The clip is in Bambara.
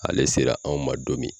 Ale sera anw ma don min